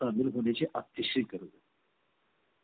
अतिशय गरज not clear